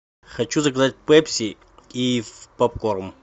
хочу заказать пепси и попкорн